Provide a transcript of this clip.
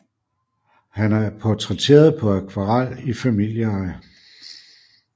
Han er portrætteret på akvarel i familieeje